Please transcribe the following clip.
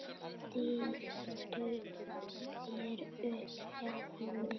Stilltu þér upp hjá henni.